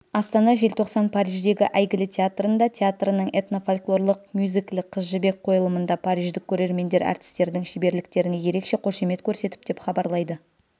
астана желтоқсан париждегі әйгілі театрында театрының этно-фольклорлық мюзиклі қыз жібек қойылымында париждік көрермендер әртістердің шеберліктеріне ерекше қошемет көрсетіп деп хабарлайды